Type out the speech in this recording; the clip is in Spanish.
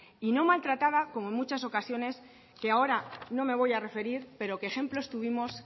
y no maltrata como en muchas ocasiones que ahora no me voy a referir pero que ejemplos tuvimos